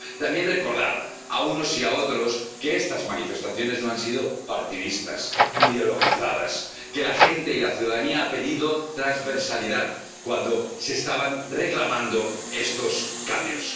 También queremos recordar, a unos y a otros, que estas manifestaciones no han sido partidistas, ideologizadas, que la gente y la ciudadanía han pedido transversalidad cuando se estaban reclamando estos cambios